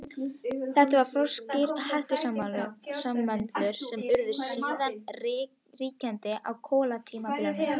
Það voru froskdýr, hreistursalamöndrur, sem urðu síðan ríkjandi á kolatímabilinu.